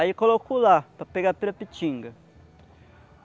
Aí eu coloco lá para pegar pirapitinga.